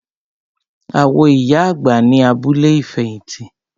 A wo ìyá àgbà ní abúlé ìfẹ̀hìtì.